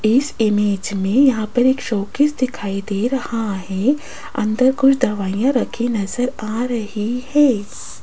इस इमेज में यहां पर एक शोकेस दिखाई दे रहा है अंदर कुछ दवाइयां रखी नजर आ रही है।